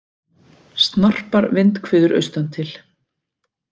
Snarpar vindhviður austantil